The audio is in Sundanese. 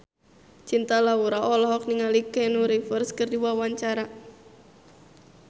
Cinta Laura olohok ningali Keanu Reeves keur diwawancara